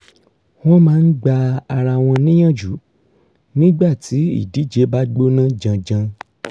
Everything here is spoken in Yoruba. wọ́n máa ń gba ara wọn níyànjú nígbà tí ìdíje bá gbóná janjan